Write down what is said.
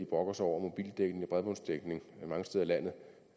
brokker sig over mobildækning og bredbåndsdækning mange steder i landet